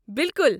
بالکل۔